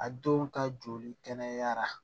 A denw ka joli kɛnɛyara